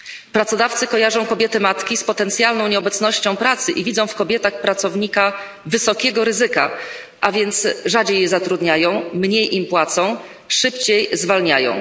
Pracodawcy kojarzą kobiety matki z potencjalną nieobecnością pracy i widzą w kobietach pracownika wysokiego ryzyka, a więc rzadziej je zatrudniają, mniej im płacą, szybciej zwalniają.